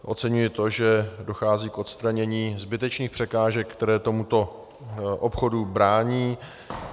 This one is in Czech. Oceňuji to, že dochází k odstranění zbytečných překážek, které tomuto obchodu brání.